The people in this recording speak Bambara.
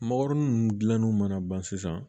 Mɔgɔrinin ninnu dilanni mana ban sisan